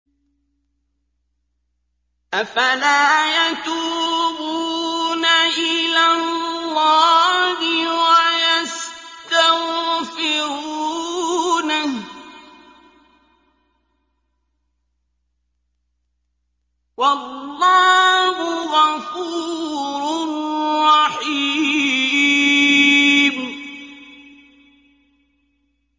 أَفَلَا يَتُوبُونَ إِلَى اللَّهِ وَيَسْتَغْفِرُونَهُ ۚ وَاللَّهُ غَفُورٌ رَّحِيمٌ